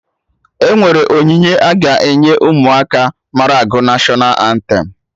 Enwere onyinye a ga-enye Ụmụaka mara agụ National antem